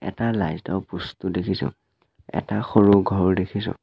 এটা লাইট ৰ পষ্ট ও দেখিছোঁ এটা সৰু ঘৰ দেখিছোঁ।